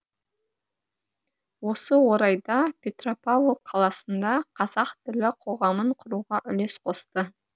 осы орайда петропавл қаласында қазақ тілі қоғамын құруға үлес қосты